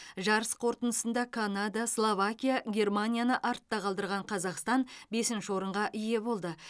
жарыс қорытындысында канада словакия германияны артқа қалдырған қазақстан бесінші орынға ие болды